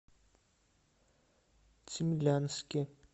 цимлянске